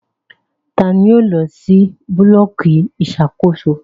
Tani yóò lọ si bulọọki iṣakoso?